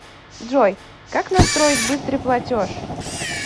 джой как настроить быстрый платеж